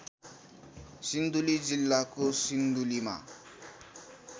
सिन्धुली जिल्लाको सिन्धुलीमा